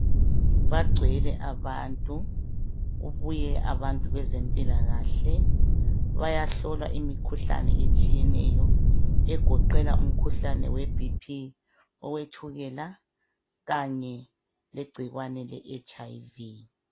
Bagcwele abantu, kubuye abantu bezempila kahle bayahlola imikhuhlane etshiyeneyo egoqela umikhuhlane we bhiphi, owetshukela, kanye legcikwane leHIV.